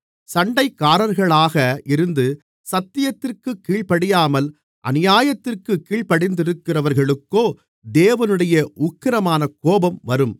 சண்டைக்காரர்களாக இருந்து சத்தியத்திற்குக் கீழ்ப்படியாமல் அநியாயத்திற்குக் கீழ்ப்படிந்திருக்கிறவர்களுக்கோ தேவனுடைய உக்கிரமான கோபம் வரும்